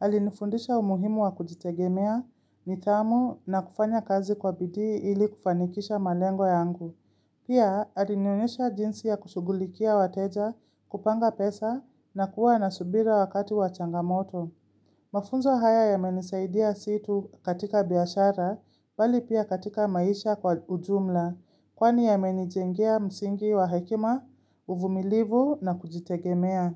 Alinifundisha umuhimu wa kujitegemea, nidhamu, na kufanya kazi kwa bidii ili kufanikisha malengo yangu. Pia, alinionyesha jinsi ya kushugulikia wateja, kupanga pesa, na kuwa na subira wakati wa changamoto. Mafunzo haya yamenisaidia si tu katika biashara, bali pia katika maisha kwa ujumla, kwani yamenijengia msingi wa hekima, uvumilivu na kujitegemea.